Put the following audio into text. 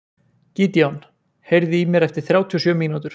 Gídeon, heyrðu í mér eftir þrjátíu og sjö mínútur.